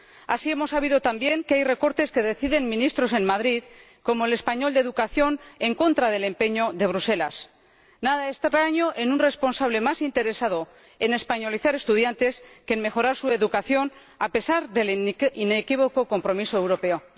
Así, hemos sabido también que hay recortes que deciden ministros en Madrid, como el ministro español de Educación, en contra del empeño de Bruselas nada extraño en un responsable más interesado en españolizar estudiantes que en mejorar su educación, a pesar del inequívoco compromiso europeo.